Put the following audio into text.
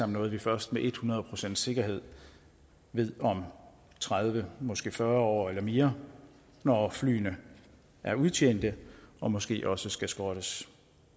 noget vi først med et hundrede procents sikkerhed ved om tredive måske fyrre år eller mere når flyene er udtjente og måske også skal skrottes